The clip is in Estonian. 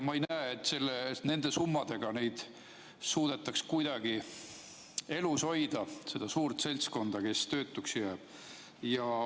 Ma ei näe, et nende summadega suudetaks kuidagi elus hoida seda suurt seltskonda, kes töötuks jääb.